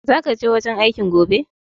Zaka je wajen aikin gobe?